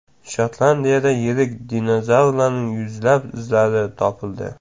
Shotlandiyada yirik dinozavrlarning yuzlab izlari topildi.